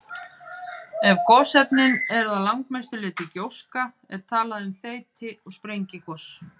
Ef gosefnin eru að langmestu leyti gjóska er talað um þeyti- eða sprengigos.